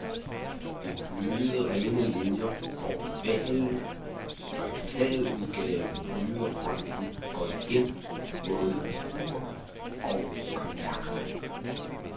Det er bløde, rene linier, hvor ovalen, der i flad udgave pryder fronten, går igen både i ur og kontakter.